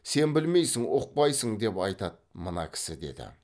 сен білмейсің ұқпайсың деп айтады мына кісі деді